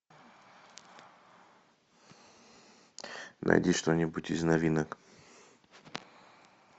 найди что нибудь из новинок